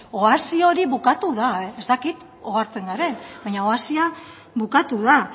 oasi hori bukatu da ez dakit ohartzen garen baina oasia bukatu da